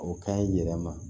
O ka ɲi yɛlɛma